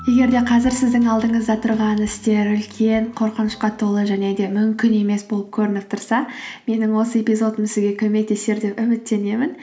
егер де қазір сіздің алдыңызда тұрған істер үлкен қорқынышқа толы және де мүмкін емес болып көрініп тұрса менің осы эпизодым сізге көмектесер деп үміттенемін